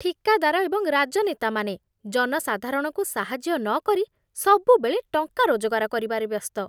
ଠିକାଦାର ଏବଂ ରାଜନେତାମାନେ ଜନସାଧାରଣଙ୍କୁ ସାହାଯ୍ୟ ନକରି ସବୁବେଳେ ଟଙ୍କା ରୋଜଗାର କରିବାରେ ବ୍ୟସ୍ତ।